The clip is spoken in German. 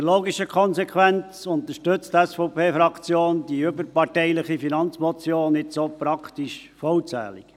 Als logische Konsequenz unterstützt die SVP-Fraktion jetzt auch die überparteiliche Finanzmotion praktisch vollzählig.